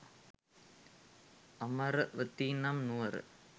අමරවතී නම් නුවර